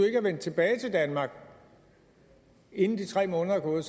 er vendt tilbage til danmark inden de tre måneder er gået